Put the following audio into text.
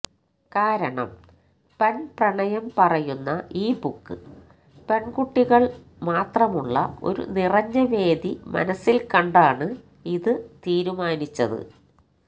കാരണം പെണ് പ്രണയം പറയുന്ന ഈ ബുക്ക് പെണ്കുട്ടികള് മാത്രമുള്ള ഒരു നിറഞ്ഞവേദി മനസ്സില് കണ്ടാണ് ഇത് തീരുമാനിച്ചത്